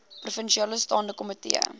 provinsiale staande komitee